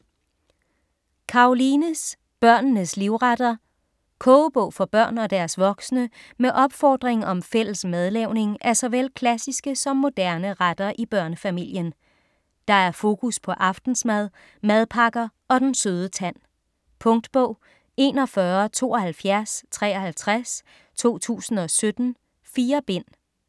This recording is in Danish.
Karolines børnenes livretter Kogebog for børn og deres voksne med opfordring om fælles madlavning af såvel klassiske som moderne retter i børnefamilien. Der er fokus på aftensmad, madpakker og den søde tand. Punktbog 417253 2017. 4 bind.